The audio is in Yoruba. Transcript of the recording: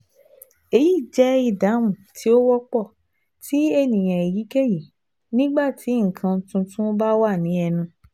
Eyi jẹ idahun ti o wọpọ ti eniyan eyikeyi nigba ti nǹkan tuntun ba wa ni ẹnu